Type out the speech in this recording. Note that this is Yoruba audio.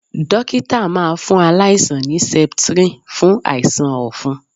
Dókítà máa fún aláìsàn ní septrin fún àìsàn ọ̀fun.